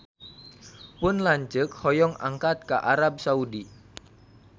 Pun lanceuk hoyong angkat ka Arab Saudi